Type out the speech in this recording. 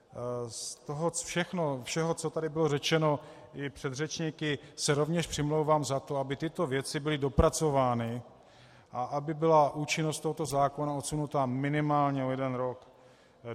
Z toho všeho, co tady bylo řečeno i předřečníky, se rovněž přimlouvám za to, aby tyto věci byly dopracovány a aby byla účinnost tohoto zákona odsunuta minimálně o jeden rok.